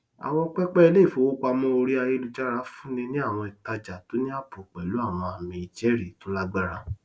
àwọn pẹpẹ iléìfowópamọ orí ayélujára fúnni ní àwọn ìtajà tó ní ààbò pẹlú àwọn ààmì ìjẹrìí tó lágbára